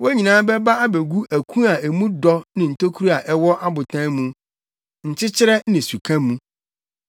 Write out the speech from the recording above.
Wɔn nyinaa bɛba abegu aku a mu dɔ ne ntokuru a ɛwɔ abotan mu, nkyɛkyerɛ ne suka mu.